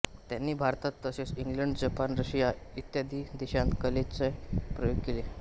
त्यांनी भारतात तसेच इंग्लंड जपान रशिया इ देशांत कलेचे प्रयोग केले